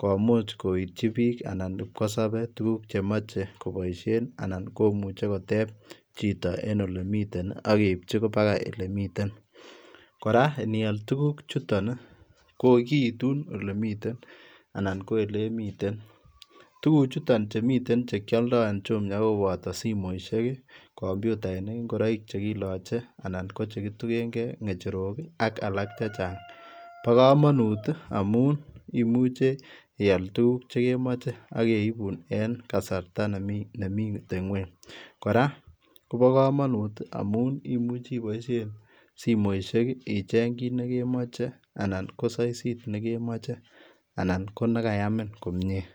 komuuch koityi biik anan kipkosabe tuguuk che machei kobaisheen anan komuchei koteeb chitoo en ole miten ii ageipchii mpakaa ele miten, iniyaal tuguuk chutoon ii koituun ele miten anan ole miten, tuguuk chuu che koyaldaa en Jumia ko kobataa simoisiek ii kompyutainik ii , ingoraik che kilachei ii anan ko chekitugeen gei, ngecherook ii ak alaak chechaang bo kamanuut ii amuun imache iyaal tuguuk che kemache ageibuun en kasarta nemiiten kweeny kora kobaa kamanuut ii amuun imuchii ibaisheen simoisiek icheeng kiit nekemochei ii anan ko saisiit nekemachei anan ko ne kayamiin komyei.